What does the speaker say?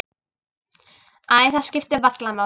Æ, það skiptir varla máli.